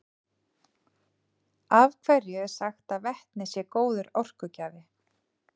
af hverju er sagt að vetni sé góður orkugjafi